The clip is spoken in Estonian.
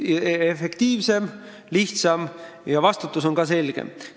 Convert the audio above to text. See on efektiivsem, lihtsam ja vastutus on selgem.